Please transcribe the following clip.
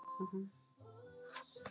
Skrítið stundum hvernig lífið er.